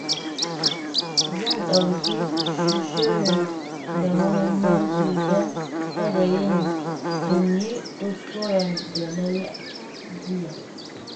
Zan ɗauki shirin da muhimmanci don kada in yi kuskuren da na yi jiya.